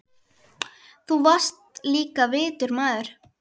Þú varst líka vitur maður.